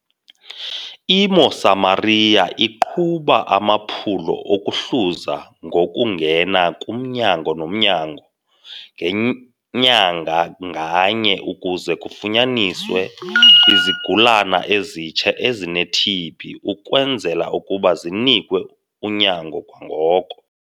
I-Mosamaria iqhuba amaphulo okuhluza ngokungena kumnyango nomnyango ngenyanga nganye ukuze kufunyaniswe izigulana ezitsha ezine-TB ukwenzela ukuba zinikwe unyango kwangoko.